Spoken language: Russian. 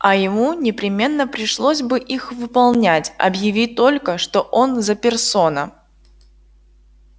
а ему непременно пришлось бы их выполнять объяви только что он за персона